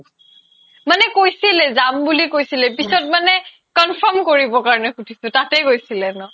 মানে কৈছিলে যাম বুলি কৈছিলে পিছত মানে confirm কৰিবৰ কাৰণে সুধিছো তাতে গৈছিলে ন ?